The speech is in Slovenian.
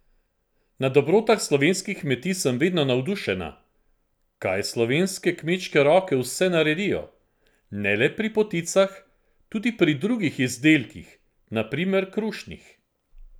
Na Dobrotah slovenskih kmetij sem vedno navdušena, kaj slovenske kmečke roke vse naredijo, ne le pri poticah, tudi pri drugih izdelkih, na primer krušnih.